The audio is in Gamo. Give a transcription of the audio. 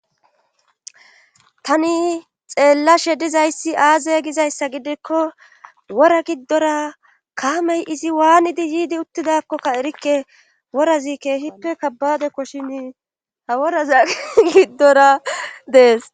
Tani xeellashe dizayssi aaze gizayssa gidikko wora giddora kaamey izi waanidi yiidi uttidakkokka erikke worazikke hippe kabbade koshini ha woraza giddora dees.